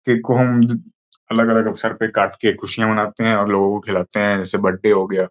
Cake को हम अलग-अलग अवसर पर काट के खुशियां मनाते हैं और लोगों को खिलाते हैं जैसे बर्थडे हो गया।